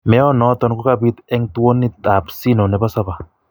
Meanoton kokapiit en towuunit ab siino nebo Saba.